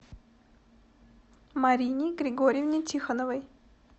марине григорьевне тихоновой